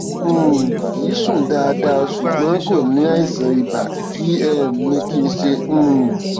um kì í sùn dáadáa ṣùgbọn kò ní àìsàn ibà kí um ni kí n ṣe um